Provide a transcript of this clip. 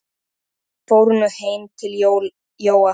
Þeir fóru nú heim til Jóa.